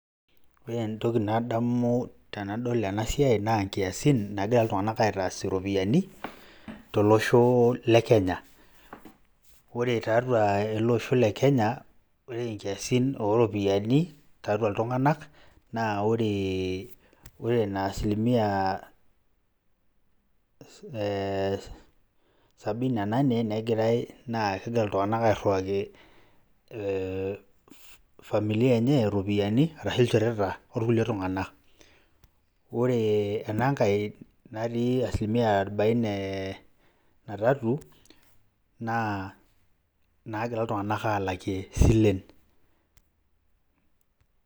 Ore entoki nadamu tenadol ena siai naa nkiasin nagira iltung'anak aitaas iropiani tolosho le Kenya. Ore tiatua ele osho le Kenya, ore nkiasin o ropiani tiatua iltung'anak naa ore ina asilimia ee sabini na nane, negirai naa egira iltung'anak airiwaki familia enye iropiani arashu ilchoreta orkulie tung'anak. Ore ena nkae natii asilimia arobaene na tatu naa nagira iltung'anak aalakie isilen.